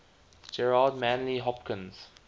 gerard manley hopkins